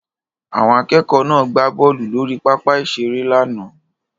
Àwọn akẹ́kọ̀ọ́ náà gbá bọ́ọ̀lù lórí pápá ìṣeré lánàá